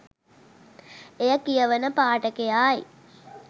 එය කියවන පාඨකයායි